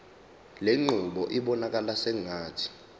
lenqubo ibonakala sengathi